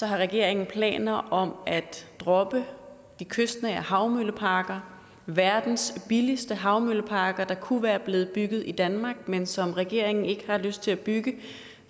har regeringen planer om at droppe de kystnære havmølleparker verdens billigste havmølleparker der kunne være blevet bygget i danmark men som regeringen ikke har lyst til at bygge